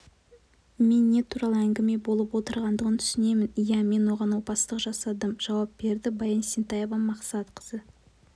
мен не туралы әңгіме болып отырғандығын түсінемін ия мен оған опасыздық жасадым жауап берді баян есентаева-мақсатқызы